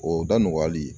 O da nɔgɔyali